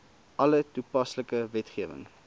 alle toepaslike wetgewing